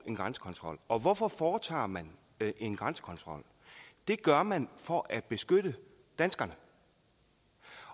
en grænsekontrol og hvorfor foretager man en grænsekontrol det gør man for at beskytte danskerne